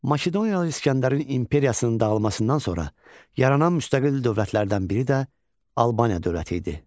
Makedoniyalı İskəndərin imperiyasının dağılmasından sonra yaranan müstəqil dövlətlərdən biri də Albaniya dövləti idi.